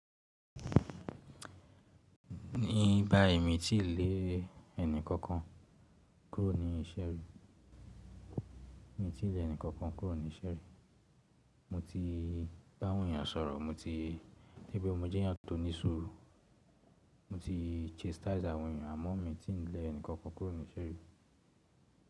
Ní báyii mi ti lè ẹnì kankan kúrò ní ìṣe ri, mo ti bá àwọn èèyàn sọ̀rọ̀, mo ti, mọ jẹ́yàn tó ní ṣúùrù, mo ti chastise àwọn èèyàn àmọ́ mi o ti lè ẹnì kankan kúrò ní iṣe ri.